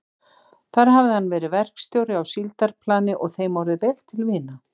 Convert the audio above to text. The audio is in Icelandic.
Þar hafði hann verið verkstjóri á síldarplani og þeim orðið vel til vina.